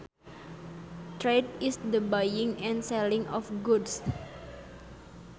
Trade is the buying and selling of goods